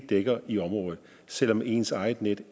dækker i området selv om ens eget net